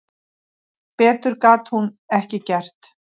Betur gat hún ekki gert.